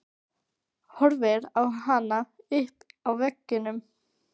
Horfir á hana uppi á veggnum.